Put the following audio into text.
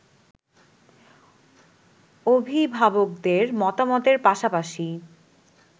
অভিভাবকদের মতামতের পাশাপাশি